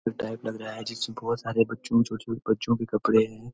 बहोत टाइप लग रहा है जिसमे बहोत सारे बच्चों छोटे छोटे बच्चों के कपड़े हैं।